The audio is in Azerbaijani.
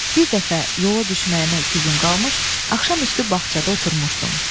Bir dəfə yola düşməyimə iki gün qalmış axşam üstü bağçada oturmuşdum.